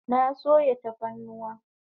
Na sayo tafarnuwa